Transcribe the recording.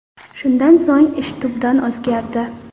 Shundan so‘ng ish tubdan o‘zgardi.